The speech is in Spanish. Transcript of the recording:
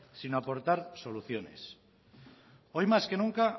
sino aportar soluciones hoy más que nunca